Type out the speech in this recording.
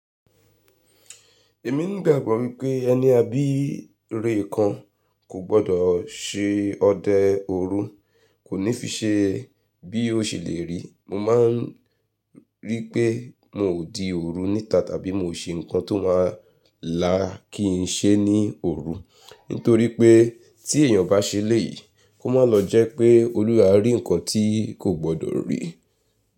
Èmi ni igbàgbọ́ wípé ẹni a bí ìrè kan kò gbọdọ̀ se ọdẹ òru. Kò ní fi ṣe bí ó ṣe lè rí. Mo maa n rí pé miò di òru níta tàbí mio ṣe ǹkan tó ma la kí n ṣe ní òru, nítorí pé tí èèyàn bá ṣe elẹ́yì, kó má lọ jẹ́ pé Olúwa ẹ a ri ǹkan tí kò gbọdọ̀ rí.